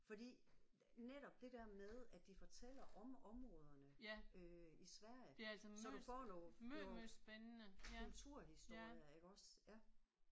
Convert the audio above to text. Fordi netop det der med at de fortæller om områderne øh i Sverige så du får nogle nogle kulturhistorier iggås ja